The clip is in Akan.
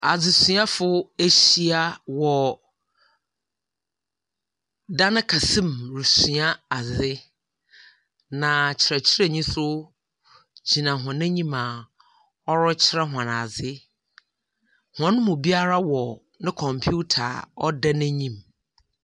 Adzesuafo ehyia wɔ dan kɛse mu resua adze, na kyerɛkyerɛnyi nso gyina hɔn enyim a ɔrekyerɛ hom adze. Hɔn mu biara wɔ ne computer a ɔda n'enyim.